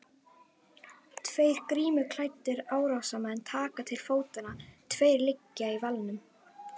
Tveir grímuklæddir árásarmenn taka til fótanna, tveir liggja í valnum.